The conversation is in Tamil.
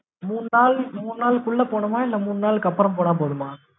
மூணு நாள் மூணு நாள் குள்ள போடணுமா? இல்ல மூணு நாள்க்கு அப்பறம் போனா போதுமா?